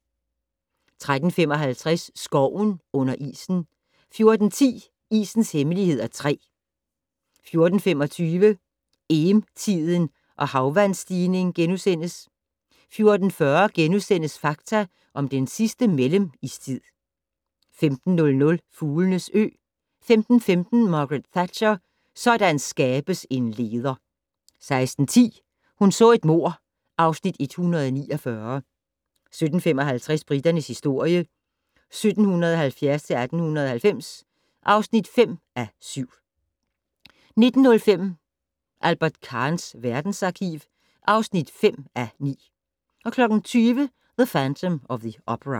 13:55: Skoven under isen 14:10: Isens Hemmeligheder (3) 14:25: Eem-tiden og havvandsstigning * 14:40: Fakta om den sidste mellemistid * 15:00: Fuglenes ø 15:15: Margaret Thatcher: Sådan skabes en leder! 16:10: Hun så et mord (Afs. 149) 17:55: Briternes historie 1770-1890 (5:7) 19:05: Albert Kahns verdensarkiv (5:9) 20:00: The Phantom of the Opera